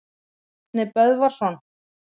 Árni Böðvarsson.